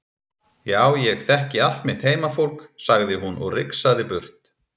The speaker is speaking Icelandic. Já ég þekki allt mitt heimafólk, sagði hún og rigsaði burt.